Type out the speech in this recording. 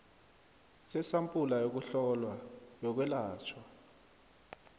sesampula yokuhlolwa yokwelatjhwa